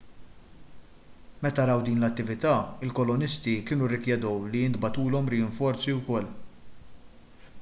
meta raw din l-attività il-kolonisti kienu rrikjedew li jintbagħtulhom rinforzi wkoll